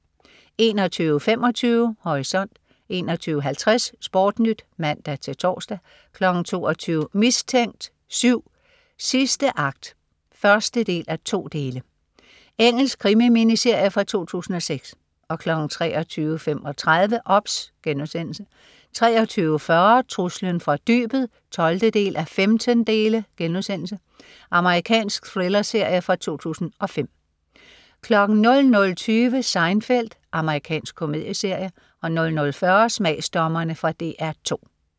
21.25 Horisont 21.50 SportNyt (man-tors) 22.00 Mistænkt 7: Sidste akt 1:2. Engelsk krimi-miniserie fra 2006 23.35 OBS* 23.40 Truslen fra dybet 12:15.* Amerikansk thrillerserie fra 2005 00.20 Seinfeld. Amerikansk komedieserie 00.40 Smagsdommerne. Fra DR 2